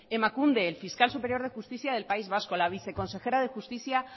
emakunde el fiscal superior de justicia del país vasco la viceconsejera de justicia